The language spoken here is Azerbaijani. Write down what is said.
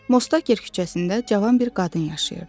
Mostager küçəsində cavan bir qadın yaşayırdı.